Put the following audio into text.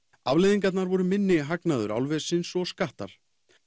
afleiðingarnar voru minni hagnaður álversins og þannig skattar